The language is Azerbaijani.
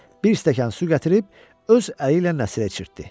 Bir stəkan su gətirib öz əli ilə Nəsirə içirtdi.